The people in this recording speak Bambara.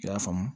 I y'a faamu